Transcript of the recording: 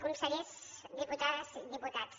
consellers diputades i diputats